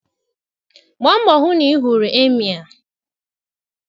Gbaa mbọ hụ na ị hụrụ Emịee.